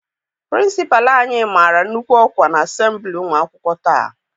Pịrịnsịpalụ anyị mara nnukwu ọkwa n'asembili ụmụ akwụkwọ taa.